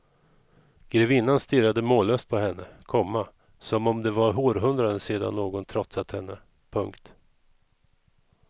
Grevinnan stirrade mållös på henne, komma som om det var århundraden sedan någon trotsat henne. punkt